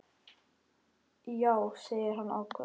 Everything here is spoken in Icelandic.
Já, segir hann ákafur.